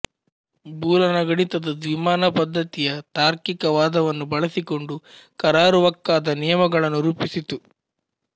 ಬೂಲನ ಗಣಿತ ದ್ವಿಮಾನ ಪದ್ಧತಿಯ ತಾರ್ಕಿಕ ವಾದವನ್ನು ಬಳಸಿಕೊಂಡು ಕರಾರುವಕ್ಕಾದ ನಿಯಮಗಳನ್ನು ರೂಪಿಸಿತು